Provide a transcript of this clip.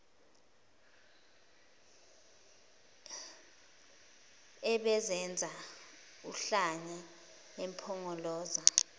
ebizenza uhlanya impongoloza